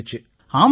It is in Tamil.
ஆமாங்கய்யா